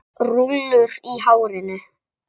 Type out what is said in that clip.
Rúllur í hárinu.